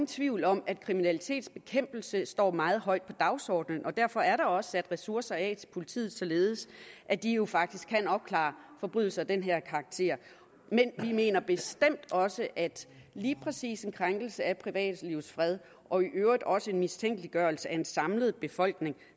tvivl om at kriminalitetsbekæmpelse står meget højt på dagsordenen og derfor er der også sat ressourcer af til politiet således at de jo faktisk kan opklare forbrydelser af den her karakter men vi mener bestemt også at lige præcis en krænkelse af privatlivets fred og i øvrigt også en mistænkeliggørelse af en samlet befolkning